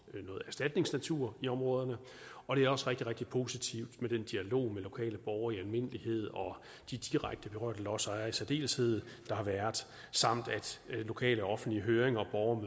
noget erstatningsnatur i områderne og det er også rigtig rigtig positivt med den dialog med lokale borgere i almindelighed og de direkte berørte lodsejere i særdeleshed der har været samt at lokale og offentlige høringer og